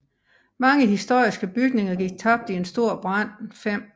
Mange historiske bygninger gik tabt i en stor brand 5